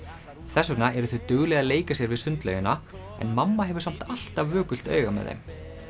þess vegna eru þau dugleg að leika sér við sundlaugina en mamma hefur samt alltaf vökult auga með þeim